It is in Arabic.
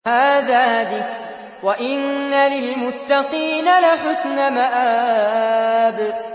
هَٰذَا ذِكْرٌ ۚ وَإِنَّ لِلْمُتَّقِينَ لَحُسْنَ مَآبٍ